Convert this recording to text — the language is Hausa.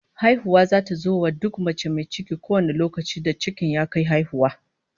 Haihuwa zata zo wa duk mai ciki kowane lokaci da cikin ya kai haihuwa